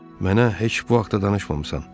Mənə heç bu haqda danışmamısan.